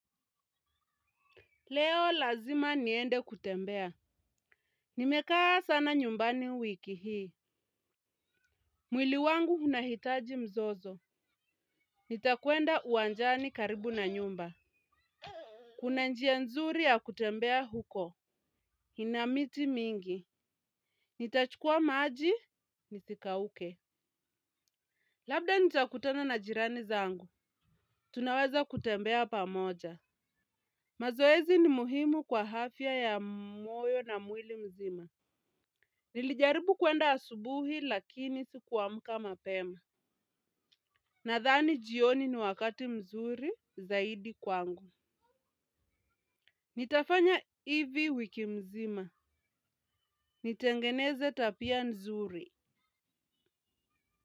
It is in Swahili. Leo lazima niende kutembea. Nimekaa sana nyumbani wiki hii. Mwili wangu hunahitaji mzozo. Nitakwenda uwanjani karibu na nyumba. Kuna njia nzuri ya kutembea huko. Ina miti mingi. Nitachukua maaji. Nithikauke. Labda nitakutana na jirani zangu. Tunaweza kutembea pamoja. Mazoezi ni muhimu kwa hafya ya mwoyo na mwili mzima. Nilijaribu kwenda asubuhi lakini sikuamka mapema. Nadhani jioni ni wakati mzuri zaidi kwangu. Nitafanya hivi wiki mzima. Nitengeneze tapia mzuri.